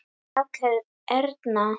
Rakel Erna.